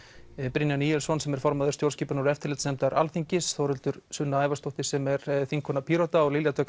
Brynjar Níelsson sem er formaður stjórnskipunar og eftirlitsnefndar Alþingis Þórhildur Sunna Ævarsdóttir sem er þingkona Pírata og Lilja Dögg